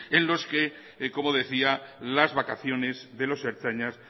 en los que como decía las vacaciones de los ertzainas